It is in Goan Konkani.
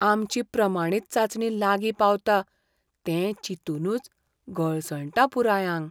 आमची प्रमाणीत चांचणी लागीं पावता तें चिंतूनच गळसणटा पुराय आंग!